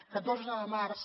catorze de març